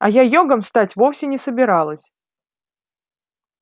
а я йогом стать вовсе не собиралась